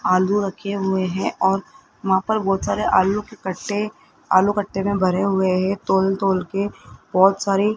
आलू रखे हुए हैं और वहां पर बहोत सारे आलू के कट्टे आलू कट्टे में भरे हुए है तौल-तौल के बहोत सारे --